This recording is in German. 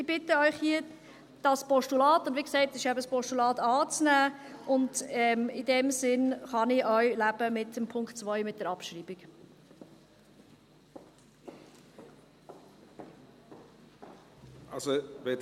Ich bitte Sie hier, dieses Postulat – wie gesagt ist es eben ein Postulat – anzunehmen, und in diesem Sinne kann ich auch mit der Abschreibung von Punkt 2 leben.